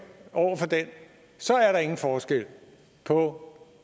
over for den så er der ingen forskel på